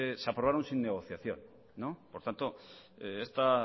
se aprobaron sin negociación por tanto esta